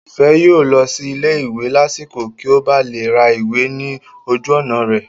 Ìfẹ́ yóò lọ sí ilé ìwé lásìkò kí ó ba lè ra ìwé ní ojú ọ̀nà rẹ̀